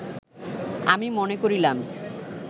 আমি মনে করিলাম